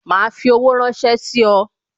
Ma fi owó ránsẹ́ sí ọ